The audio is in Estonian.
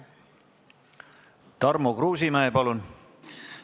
Tarmo Kruusimäe, palun!